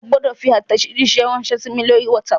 O gbọ́dọ̀ fi àtẹ̀jíṣé ránsẹ́ sí mi lórí WhatsApp!